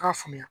K'a faamuya